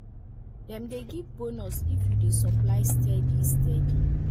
dem dey give bonus if you dey supply steady steady